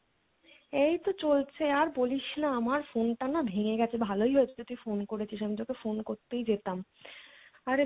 এইতো চলছে আর বলিসনা আমার phone টা না ভেঙে গেছে ভালোই হয়েছে যে তুই phone করেছিস আমি তোকে phone করতেই যেতাম, আরে